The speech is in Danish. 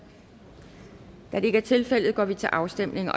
da det ikke er tilfældet går vi til afstemning